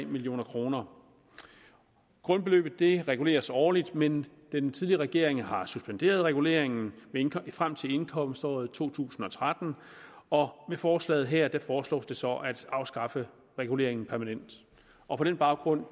million kroner grundbeløbet reguleres årligt men den tidligere regering har suspenderet reguleringen frem til indkomståret to tusind og tretten og med forslaget her foreslås det så at afskaffe reguleringen permanent og på den baggrund